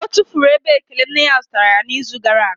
Ọ tụfuru ebe elekere nne ya zụtara ya n'izu gara aga